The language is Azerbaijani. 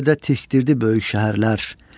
hər yerdə tikdirdi böyük şəhərlər.